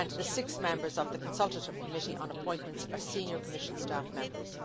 and the six members of the consultative committee on appointments are senior Commission staff members.